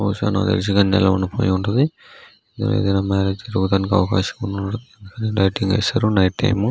బహుశా నాకు తెలిసి ఇది ఎలా ఉండిపోయి ఉంటది దీనిలో మేరేజ్ జరగటానికి అవకాశం ఉంది లైటింగ్ ఎసరు నైట్ టైమ్ .